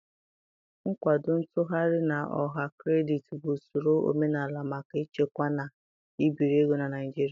Nkwado ntughari na ọha kredit bụ usoro omenala maka ịchekwa na ibiri ego na Naịjirịa